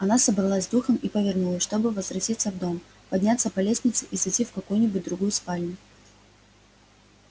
она собралась с духом и повернулась чтобы возвратиться в дом подняться по лестнице и зайти в какую-нибудь другую спальню